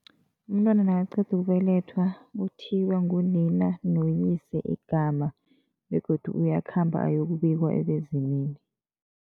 Umntwana nakaqeda ukubelethwa, uthiywa ngunina noyise igama begodu uyakhamba ayokubikwa ebezimini.